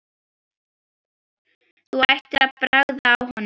Þú ættir að bragða á honum